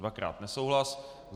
Dvakrát nesouhlas.